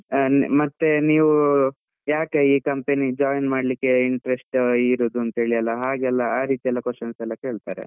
ಮತ್ತೆ ನೀವ್ ಯಾಕೆ ಈ company ಗೆ join ಮಾಡ್ಲಿಕ್ಕೆ interest ಇರುವುದು, ಅಂತೇಳಿ ಹಾಗೆಲ್ಲ ಆ ರೀತಿ ಎಲ್ಲ questions ಎಲ್ಲ ಕೇಳ್ತಾರೆ.